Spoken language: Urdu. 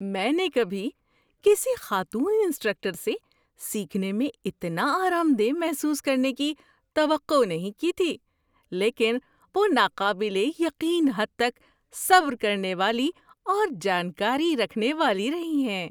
میں نے کبھی کسی خاتون انسٹرکٹر سے سیکھنے میں اتنا آرام دہ محسوس کرنے کی توقع نہیں کی تھی، لیکن وہ ناقابل یقین حد تک صبر کرنے والی اور جانکاری رکھنے والی رہی ہیں۔